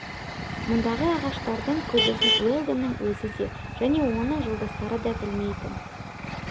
мұндағы ағаштардың көбісін уэлдонның өзі де және оның жолдастары да білмейтін